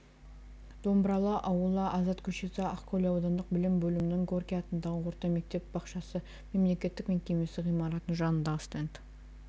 домбыралы ауылы азат көшесі ақкөл аудандық білім бөлімінің горький атындағы орта мектеп-бақшасы мемлекеттік мекемесі ғимаратының жанындағы стенд